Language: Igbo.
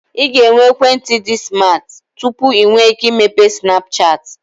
Ị ga-enwe ekwentị dị smat tupu ị nwee ike imepe Snapchat